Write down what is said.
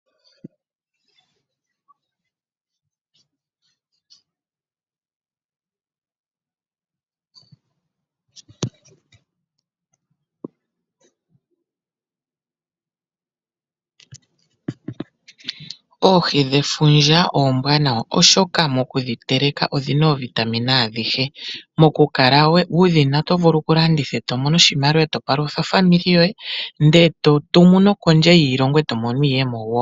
Oohi dhefundja oombwanawa oshoka mokudhiteleka odhina oovitamine adhihe. Mokukala wudhina oto vulu kulanditha eto mono oshimaliwa eto palutha aakwanezimo lyoye ndele eto tumu no kondje yiilongo eto mono mo iiyemo wo.